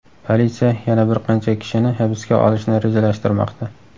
Politsiya yana bir qancha kishini hibsga olishni rejalashtirmoqda.